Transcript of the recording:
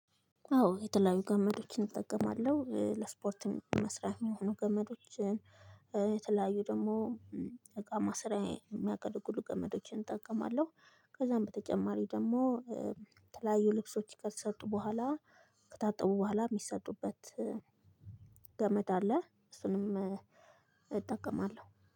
አዎ የተለያዩ ገመዶችን እጠቀማለሁ ለስፖርት መስሪያ የሚሆኑ ገመዶችን የተለያዩ ደግሞ እቃ ማስራዬ የሚያገለግሉ ጠመዶችን እጠቀማለሁ። ከዛም በተጨማሪ ደግሞ የተለያዩ ልብሶች ከተሰጡ ቡሀላ ከታጠቡ ቡሀላ የሚሰጡበት ገመድ አለ። እሱንም እጠቀማለሁ